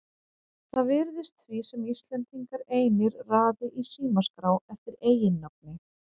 Það virðist því sem Íslendingar einir raði í símaskrá eftir eiginnafni.